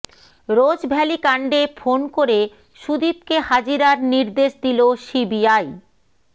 Rose Valley কাণ্ডে phone করে সুদীপকে হাজিরার নির্দেশ দিল সিবিআই